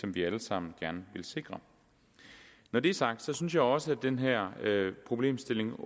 vi alle sammen gerne vil sikre når det er sagt synes jeg også at den her problemstilling